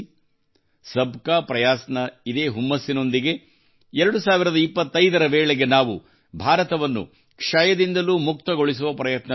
ಸಬ್ಕಾ ಪ್ರಾಯಸ್ ನ ಇದೇ ಹುಮ್ಮಸ್ಸಿನೊಂದಿಗೆ 2025 ರ ವೇಳೆಗೆ ನಾವು ಭಾರತವನ್ನು ಕ್ಷಯದಿಂದಲೂ ಮುಕ್ತಗೊಳಿಸುವ ಪ್ರಯತ್ನದಲ್ಲಿದ್ದೇವೆ